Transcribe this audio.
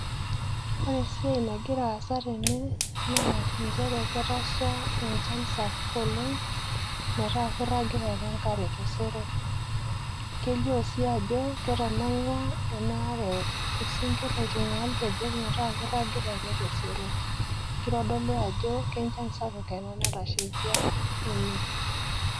Ore siai nagiraasa tene naa nchere eketasha enchan sapuk oleng' metaa keirragita ake enkare tosero. Kelioo sii ajo ketanang'ua enaare isinkirr aitung'uaa ilkejeke metaa keirragita ake tosero. Keitodolu ajo kenchan sapuk ena natasheikia ene.